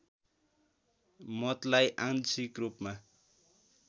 मतलाई आंशिक रूपमा